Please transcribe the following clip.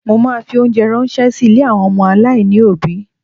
Mo ma fi óńjẹ ránṣẹ́ sí ilé àwọn ọmọ aláìní òbí.